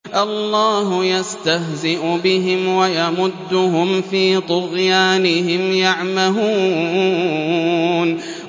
اللَّهُ يَسْتَهْزِئُ بِهِمْ وَيَمُدُّهُمْ فِي طُغْيَانِهِمْ يَعْمَهُونَ